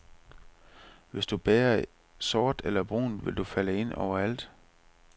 Hvis du bærer sort eller brunt vil du falde ind overalt.